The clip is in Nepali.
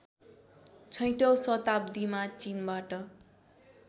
छैठौँ शताब्दिमा चिनबाट